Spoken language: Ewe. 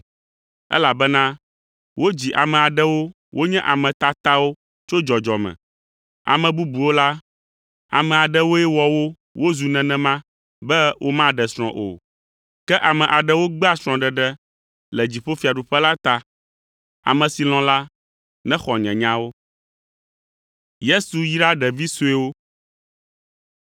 elabena wodzi ame aɖewo wonye ame tatawo tso dzɔdzɔme; ame bubuwo la, ame aɖewoe wɔ wo wozu nenema be womaɖe srɔ̃ o. Ke ame aɖewo gbea srɔ̃ɖeɖe le dziƒofiaɖuƒe la ta. Ame si lɔ̃ la, nexɔ nye nyawo.”